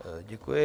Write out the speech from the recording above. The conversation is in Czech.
Děkuji.